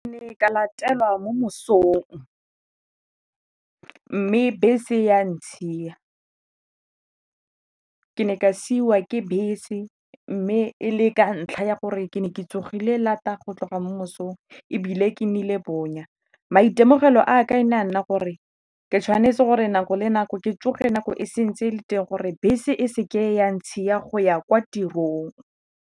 Ke ne ka latelwa mo mosong mme bese ya ntshiya, ke ne ka siwa ke bese mme e le ka ntlha ya gore ke ne ke tsogile lata go tloga mo mosong ebile ke nnile bonya. Maitemogelo a me e ne a nna gore ke tshwanetse gore nako le nako ke tsoge nako e se ntse e le teng gore bese e se ke ya ntshiya go ya kwa tirong.